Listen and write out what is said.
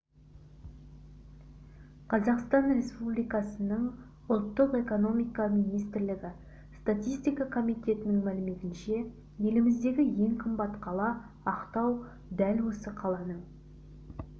қазақстан республикасының ұлттық экономика министрлігі статистика комитетінің мәліметінше еліміздегі ең қымбат қала ақтау дәл осы қаланың